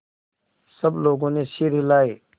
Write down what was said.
सब लोगों ने सिर हिलाए